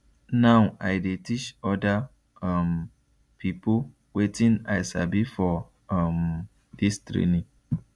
now i dey teach oda um pipo wetin i sabi for um dis training